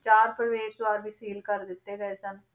ਚਾਰ ਪ੍ਰਵੇਸ਼ ਦੁਆਰ ਵੀ seal ਕਰ ਦਿੱਤੇ ਗਏ ਸਨ,